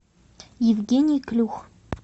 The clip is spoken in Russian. евгений клюх